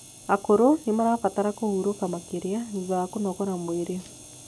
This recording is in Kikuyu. akũrũ nimarabatara kũhũrũka makirĩa thutha wa kũnogora mwĩrĩ